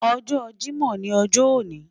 Ojo Jimo ni ojo oni